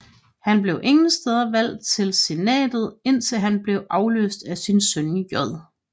Han blev igen valgt til senatet indtil han blev adløst af sin søn J